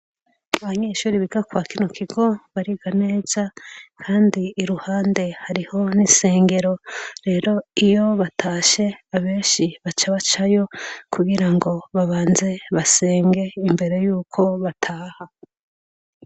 Abanyeshuri biga kwakino kigo bariga neza, kandi iruhande hariho n'isengero, rero iyo batashe abenshi baca bacayo ,kugirango babanze basenge imbere yuko bataha.